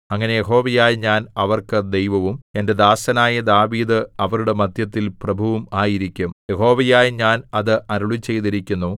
അങ്ങനെ യഹോവയായ ഞാൻ അവർക്ക് ദൈവവും എന്റെ ദാസനായ ദാവീദ് അവരുടെ മദ്ധ്യത്തിൽ പ്രഭുവും ആയിരിക്കും യഹോവയായ ഞാൻ അത് അരുളിച്ചെയ്തിരിക്കുന്നു